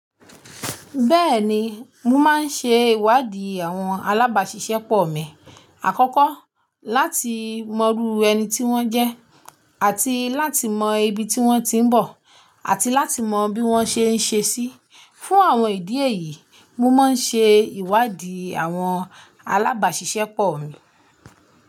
Bẹ́ẹ̀ni, mo máa ń ṣe ìwádì àwọn alábàṣiṣẹ́pọ̀ mi, àkọ́kọ́ láti mọrú ẹni tí wọ́n jẹ́, àti láti mọ ibi tí wọ́n ti ń bọ̀, àti láti mọ bí wọ́n ṣe ń ṣe sí. Fún àwọn ìdí èyí, mo máa ń ṣe ìwádìí àwọn alábàáṣiṣẹ́pọ̀ mi.